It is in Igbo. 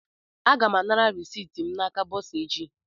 Aga m anara reciiti m n'aka bọsa echi